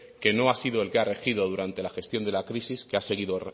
que no ha sido el que ha regido durante la gestión de la crisis que ha seguido